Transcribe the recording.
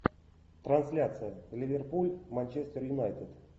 трансляция ливерпуль манчестер юнайтед